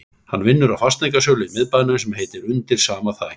Hann vinnur á fasteignasölu í miðbænum sem heitir Undir sama þaki